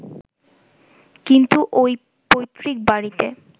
কিন্তু ওই পৈত্রিক বাড়িতে